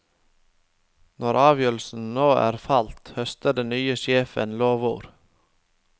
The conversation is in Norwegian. Når avgjørelsen nå er falt, høster den nye sjefen lovord.